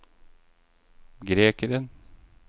grekeren